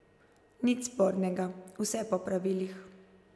Nič spornega, vse po pravilih.